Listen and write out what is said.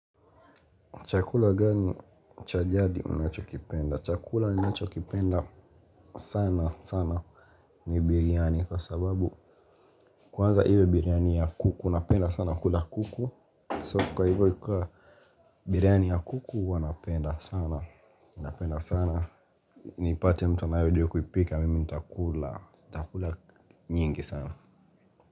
Chakula gani cha jadi unachokipenda? Chakula ninachokipenda sana sana ni biryani kwa sababu kwanza hivyo biryani ya kuku. Napenda sana kula kuku kwa hivyo ikiwa biryani ya kuku huwa napenda sana. Napenda sana nipate mtu anayejua kuipika mimi nitakula, nitakula nyingi sana.